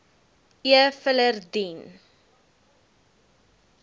e filer dien